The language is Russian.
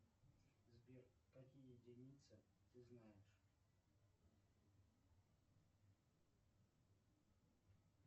сбер какие единицы ты знаешь